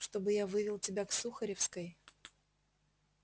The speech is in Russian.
чтобы я вывел тебя к сухаревской